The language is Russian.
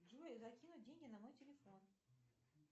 джой закинуть деньги на мой телефон